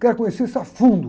Quero conhecer isso a fundo.